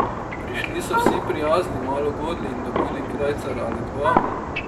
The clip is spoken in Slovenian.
Prišli so vsi prijazni, malo godli in dobili krajcar ali dva.